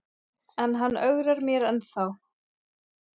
En hann ögrar mér ennþá.